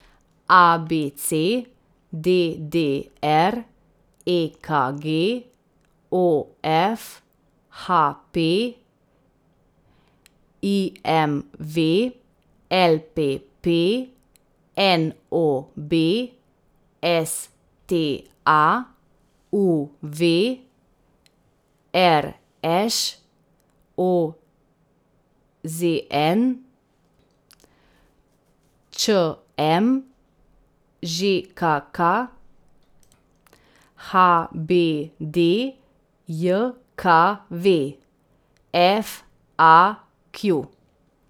A B C; D D R; E K G; O F; H P; I M V; L P P; N O B; S T A; U V; R Š; O Z N; Č M; Ž K K; H B D J K V; F A Q.